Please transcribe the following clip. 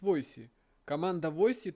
войси команда войси